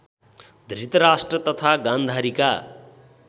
धृतराष्ट्र तथा गान्धारीका